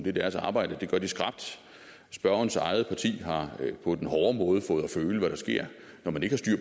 er deres arbejde og det gør de skrapt spørgerens eget parti har på den hårde måde fået at føle hvad der sker når man ikke har